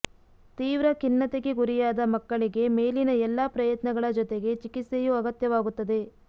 ತೀವ್ರ ಖಿನ್ನತೆಗೆ ಗುರಿಯಾದ ಮಕ್ಕಳಿಗೆ ಮೇಲಿನ ಎಲ್ಲ ಪ್ರಯತ್ನಗಳ ಜೊತೆಗೆ ಚಿಕಿತ್ಸೆಯೂ ಅಗತ್ಯವಾಗುತ್ತದೆ